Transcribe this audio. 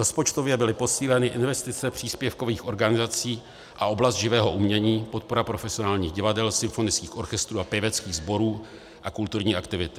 Rozpočtově byly posíleny investice příspěvkových organizací a oblast živého umění, podpora profesionálních divadel, symfonických orchestrů a pěveckých sborů a kulturní aktivity.